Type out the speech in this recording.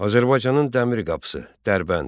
Azərbaycanın Dəmir qapısı Dərbənd.